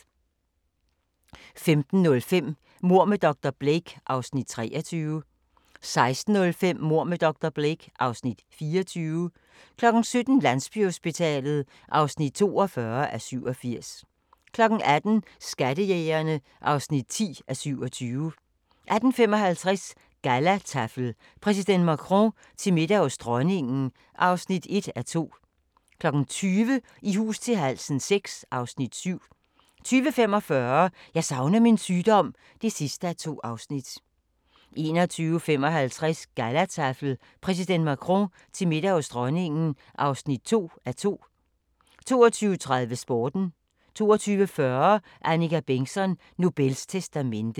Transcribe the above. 15:05: Mord med dr. Blake (Afs. 23) 16:05: Mord med dr. Blake (Afs. 24) 17:00: Landsbyhospitalet (42:87) 18:00: Skattejægerne (10:27) 18:55: Gallataffel: Præsident Macron til middag hos Dronningen (1:2) 20:00: I hus til halsen VI (Afs. 7) 20:45: Jeg savner min sygdom (2:2) 21:55: Gallataffel: Præsident Macron til middag hos Dronningen (2:2) 22:30: Sporten 22:40: Annika Bengtzon: Nobels testamente